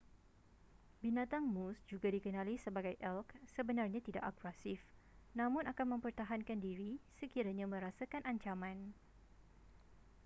binatang moose juga dikenali sebagai elk sebenarnya tidak agresif namun akan mempertahankan diri sekiranya merasakan ancaman